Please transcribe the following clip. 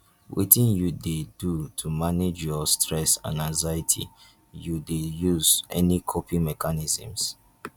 wetin you dey do to manage your stress and anxiety you dey use any coping mechanisms?